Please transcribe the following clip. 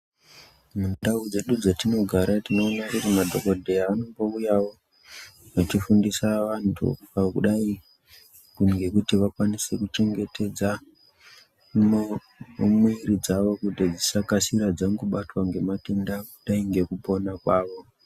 Mundau dzedu dzatinogara tinoona kuti madhokodheya anouyawo achifundisa vantu kudai ngekuti vakwanise kuchengetedza muwiri dzawo kuti dzisangokasira dzabatwa ngematenda ,kudai ngekupona kwavo.